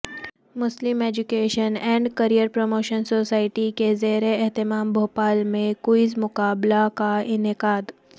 Muslim education and career promotion society کے زیراہتمام بھوپال میں کوئز مقابلہ کا انعقاد